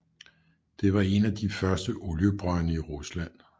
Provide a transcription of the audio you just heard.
Det var en af de første oliebrønde i Rusland